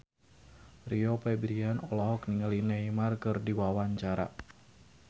Rio Febrian olohok ningali Neymar keur diwawancara